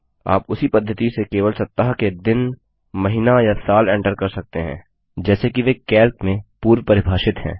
आप उसी पद्धति से केवल सप्ताह के दिन महीना या साल एंटर कर सकते हैं जैसे कि वे कैल्क में पूर्व परिभाषित हैं